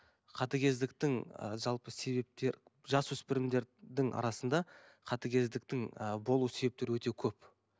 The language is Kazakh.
қатыгездікдің ыыы жалпы себептер жасөспірімдердің арасында қатыгездіктің ы болу себептері өте көп